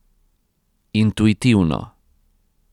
Intuitivno.